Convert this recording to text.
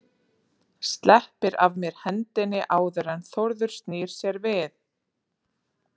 Sleppir af mér hendinni áður en Þórður snýr sér við.